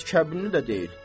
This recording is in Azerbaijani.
Heç kəbinli də deyil.